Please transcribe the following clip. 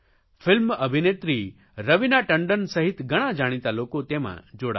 film અભિનેત્રી રવિના ટંડન સહિત ઘણા જાણીતા લોકો તેમાં જોડાયા